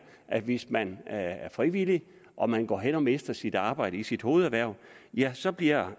at hvis man er frivillig og man går hen og mister sit arbejde i sit hovederhverv ja så bliver